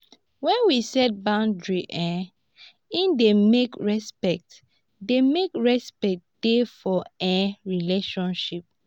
when we set boundaries um e dey make respect dey make respect dey for um relationship